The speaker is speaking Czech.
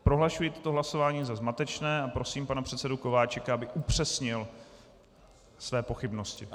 Prohlašuji toto hlasování za zmatečné a prosím pana předsedu Kováčika, aby upřesnil své pochybnosti.